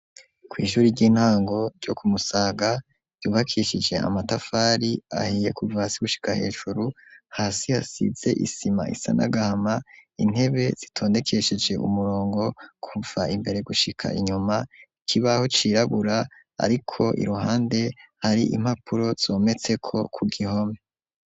Kw'ishuri ry'intango ryo kumusaga yubakishije amatafari ahiye kuva hasi gushika hejuru hasi hasize isima isanagaama intebe zitondekesheje umurongo kumva imbere gushika inyuma ikibaho cirabura, ariko iruhande hari impapuro zometseko ku gihome.